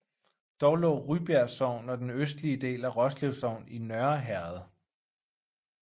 Dog lå Rybjerg Sogn og den østlige del af Roslev Sogn i Nørre Herred